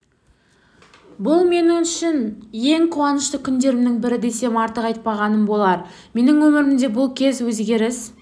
бұл мен үшін ең қуанышты күндерімнің бірі десем артық айпағаным болар менің өміріме бұл кез өзгеріс